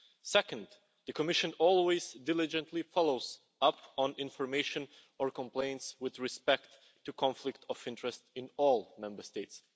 Second, the Commission always diligently follows up on information or complaints with respect to conflict of interest in all Member States.